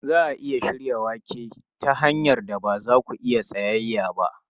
Za a iya shirya wake ta hanyar da ba za ku iya tsayayya ba.